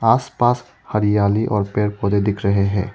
आसपास हरियाली और पेड़ पौधे दिख रहे हैं।